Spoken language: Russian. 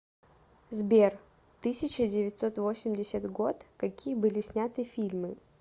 сбер тысяча девятьсот восемьдесят год какие были сняты фильмы